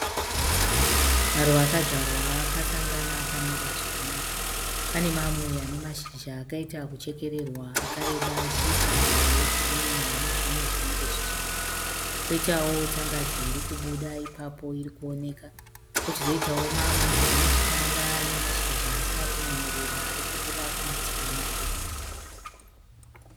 Maruva akanzvarwa akasangana akamira zvakanaka, pane mamwe anemashizha akaita kechekererwa akareba achiita hwe girinhi hunezvimwe zvinenge zvichena. Poitawo tsanganzi irikubuda irikuoneka, Pochizoitawo mamwe anezvitanda anemashizha asina kunyatsoreba arikubuda kumativi maviri.